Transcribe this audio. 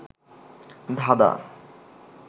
ধাঁধাঁ